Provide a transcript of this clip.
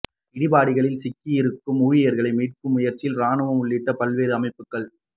இடிபாடுகளில் சிக்கியிருக்கும் ஊழியா்களை மீட்கும் முயற்சியில் ராணுவம் உள்ளிட்ட பல்வேறு அமைப்புகள்